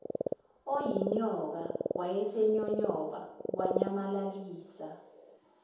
oyinyoka wayesenyonyobe wanyamalalisa